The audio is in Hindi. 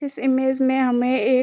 इस इमेज में हमें एक --